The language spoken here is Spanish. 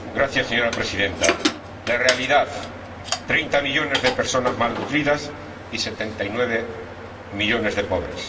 Señora Presidenta, la realidad treinta millones de personas malnutridas y 79 millones de pobres